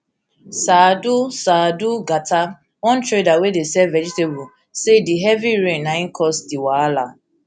saadu saadu gata one trader wey dey sell vegetable say di heavy rain na im cause di wahala